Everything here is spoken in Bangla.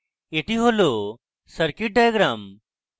এটি হল circuit diagram